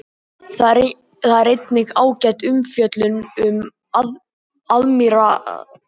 Þar er einnig ágæt umfjöllun um aðmírálsfiðrildi.